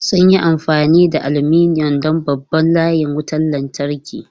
Sun yi amfani da aluminum don babban layin wutar lantarki.